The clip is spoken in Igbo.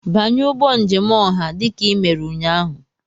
Banye ụgbọ njem ọha dị ka ị mere ụnyaahụ!